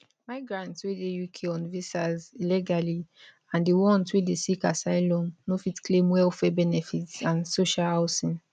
migrants wey dey uk on visas illegally and di ones wey dey seek asylum no fit claim welfare benefits and social housing